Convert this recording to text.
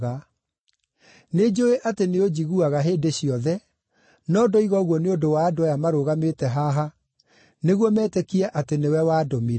Nĩnjũũĩ atĩ nĩũnjiguaga hĩndĩ ciothe, no ndoiga ũguo nĩ ũndũ wa andũ aya marũgamĩte haha, nĩguo metĩkie atĩ nĩwe wandũmire.”